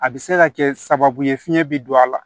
A bɛ se ka kɛ sababu ye fiɲɛ bɛ don a la